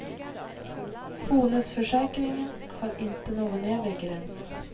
Fonusförsäkringen har inte någon övre gräns.